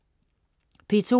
P2: